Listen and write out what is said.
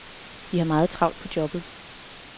Vi har meget travlt på jobbet.